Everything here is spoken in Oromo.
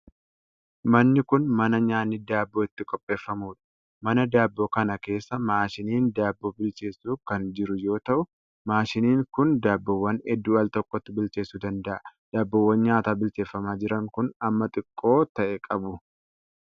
Manni kun, mana nyaanni daabboo itti qopheeffamuu dha. Mana daabboo kana keessa maashiniin daabboo bilcheessu kan jiru yoo ta'u, maashiniin kun daabboowwan hedduu al tokkotti bilcheessuu danda'a. Daabboowwan nyaataa bilcheeffamaa jiran kun, hamma xixiqqoo ta'e qabu.